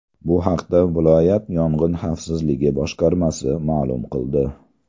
Bu haqda viloyat yong‘in xavfsizligi boshqarmasi ma’lum qildi .